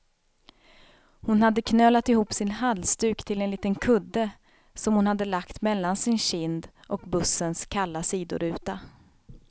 Hon hade knölat ihop sin halsduk till en liten kudde, som hon hade lagt mellan sin kind och bussens kalla sidoruta.